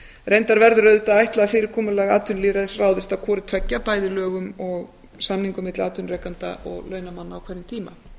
reyndar verður auðvitað að ætla að fyrirkomulag atvinnulýðræðis ráðist af hvoru tveggja bæði lögum og samningum milli atvinnurekenda og launamanna á hverjum